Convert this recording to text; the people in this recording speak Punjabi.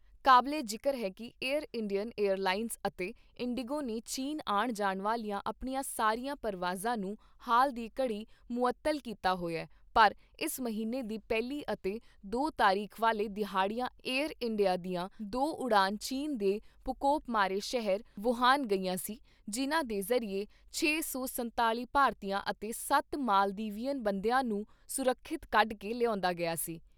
ਕਾਬਲੇ ਜਿਕਰ ਹੈ ਕਿ ਏਅਰ ਇੰਡੀਅਨ ਏਅਰਲਾਈਨਸ ਅਤੇ ਇੰਡੀਗੋ ਨੇ ਚੀਨ ਆਣ ਜਾਣ ਵਾਲੀਆਂ ਆਪਣੀਆਂ ਸਾਰੀਆਂ ਪਰਵਾਜਾਂ ਨੂੰ ਹਾਲ ਦੀ ਘੜੀ ਮੁਅੱਤਲ ਕੀਤਾ ਹੋਇਆਪਰ ਇਸ ਮਹੀਨੇ ਦੀ ਪਹਿਲੀ ਅਤੇ ਦੋ ਤਾਰੀਖ ਵਾਲੇ ਦਿਹਾੜਿਆਂ ਏਅਰ ਇੰਡੀਆ ਦੀਆਂ ਦੋ ਉਡਾਣਾ ਚੀਨ ਦੇ ਪ੍ਰਕੋਪ ਮਾਰੇ ਸ਼ਹਿਰ ਵੂਹਾਨ ਗਈਆਂ ਸੀ ਜਿਨ੍ਹਾਂ ਦੇ ਜ਼ਰੀਏ ਛੇ ਸੌ ਸੰਤਾਲ਼ੀ ਭਾਰਤੀਆਂ ਅਤੇ ਸੱਤ ਮਾਲਦੀਵਿਅਨ ਬੰਦਿਆਂ ਨੂੰ ਸੁਰੱਖਿਅਤ ਕੱਢ ਕੇ ਲਿਆਉਂਦਾ ਗਿਆ ਸੀ।